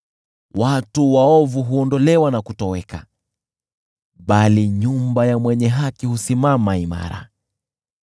Watu waovu huondolewa na kutoweka, bali nyumba ya mwenye haki husimama imara.